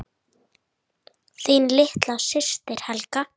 Þín litla systir, Helga.